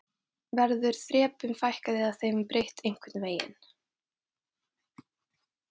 Höskuldur Kári: Verður þrepum fækkað eða þeim breytt einhvern veginn?